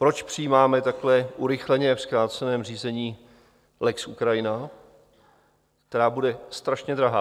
Proč přijímáme takové urychleně, v zkráceném řízení, lex Ukrajina, která bude strašně drahá?